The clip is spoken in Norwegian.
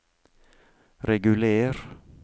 reguler